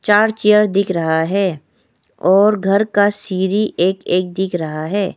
चार चेयर दिख रहा है और घर का सीरी एक एक दिख रहा है।